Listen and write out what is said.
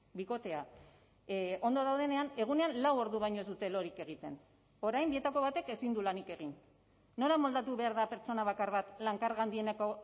bikotea ondo daudenean egunean lau ordu baino ez dute lorik egiten orain bietako batek ezin du lanik egin nola moldatu behar da pertsona bakar bat lan karga handieneko